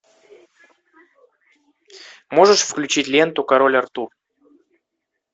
можешь включить ленту король артур